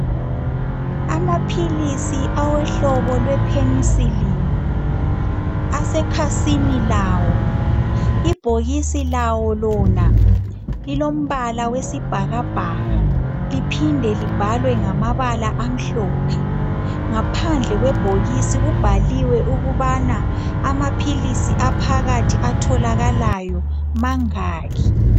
Amaphilisi awohlobo lwe penicillin asekhasini lawo. Ibhokisi lawo lona. lilombala. wesibhakabhaka kuphinde libhalwe ngokumhlophe. Ngaphandle kwebhokisi kubhaliwe ukubana amaphilisi aphakathi atholakalayo mangaki.